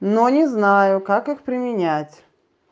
но не знаю как их применять